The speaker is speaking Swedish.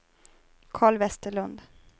Karl Vesterlund